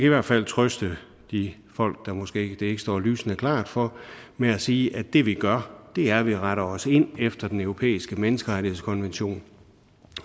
i hvert fald trøste de folk det måske ikke står lysende klart for med at sige at det vi gør er at vi retter os ind efter den europæiske menneskerettighedskonvention